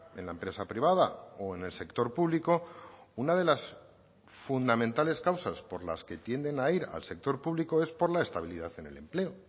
en la empresa privada o en el sector público una de las fundamentales causas por las que tienden a ir al sector público es por la estabilidad en el empleo